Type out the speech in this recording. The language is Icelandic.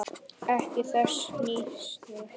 Ekki þessa hnýsni.